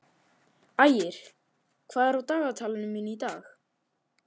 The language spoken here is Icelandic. Ægir, hvað er á dagatalinu mínu í dag?